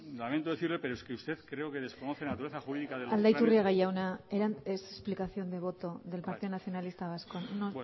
lamento decirle pero es que usted creo que desconoce la naturaleza jurídica de los planes aldaiturriaga jauna es explicación de voto del partido nacionalista vasco no